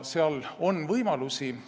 Seal on võimalusi.